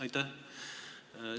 Aitäh!